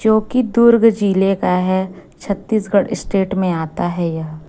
जोकि दुर्ग जिले का है छत्तीसगढ़ स्टेट में आता है यह--